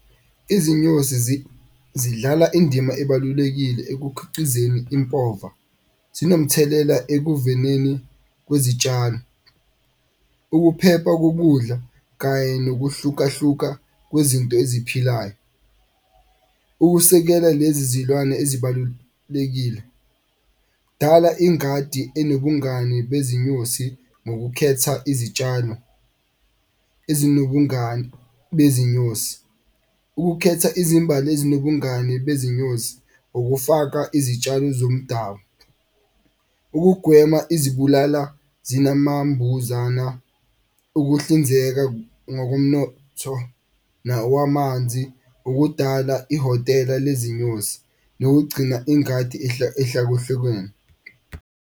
Izinyosi zidlala indima ebalulekile ekukhiqizeni impova, zinomthelela ekuvineni kwezitshalo, ukuphepha kokudla kanye nokuhlukahluka kwezinto eziphilayo. Ukusekela lezi zilwane ezibalulekile dala ingadi enobungani bezinyosi ngokukhetha izitshalo ezinobungani bezinyosi. Ukukhetha izimbali ezinobungani bezinyosi, ukufaka izitshalo zomdabu, ukugwema izibulala zinamambuzana, ukuhlinzeka ngokomnotho nawa amanzi. Ukudala ihhotela lwezinyosi nokugcina ingadi .